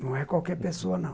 Não é qualquer pessoa, não.